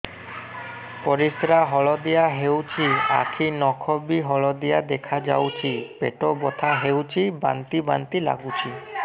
ପରିସ୍ରା ହଳଦିଆ ହେଉଛି ଆଖି ନଖ ବି ହଳଦିଆ ଦେଖାଯାଉଛି ପେଟ ବଥା ହେଉଛି ବାନ୍ତି ବାନ୍ତି ଲାଗୁଛି